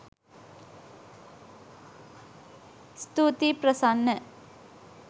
ස්තුතියි ප්‍රසන්න